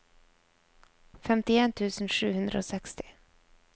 femtien tusen sju hundre og seksti